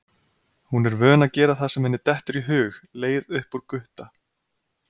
Hún er vön að gera það sem henni dettur í hug, leið upp úr Gutta.